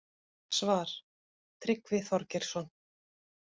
Svar: Tryggvi Þorgeirsson